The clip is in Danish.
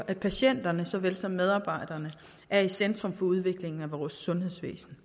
at patienterne såvel som medarbejderne er i centrum for udviklingen af vores sundhedsvæsen